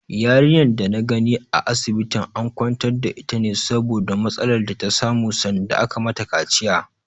Yarinyar da na gani a asibitin an kwantar da ita ne saboda matsalar da ta samu sanda aka mata kaciya.